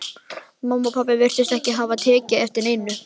Mamma og pabbi virtust ekki hafa tekið eftir neinu.